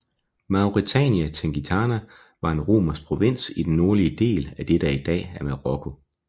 Mauretania Tingitana var en romersk provins i den nordlige del af det der i dag er Marokko